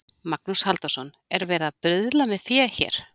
Magnús Halldórsson: Er verið að bruðla með fé hér?